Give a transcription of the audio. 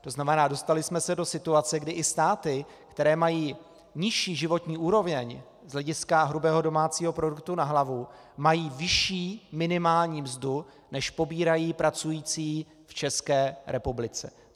To znamená, dostali jsme se do situace, kdy i státy, které mají nižší životní úroveň z hlediska hrubého domácího produktu na hlavu, mají vyšší minimální mzdu, než pobírají pracující v České republice.